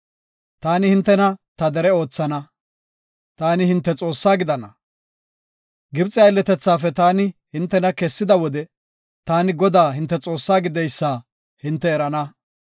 Taani hintena ta dere oothana; taani hinte Xoossaa gidana. Gibxe aylletethaafe taani hintena kessida wode, taani Godaa hinte Xoossaa gideysa hinte erana.